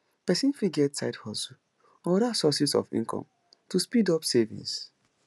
person fit get side hustle or oda sources of income to speed up savings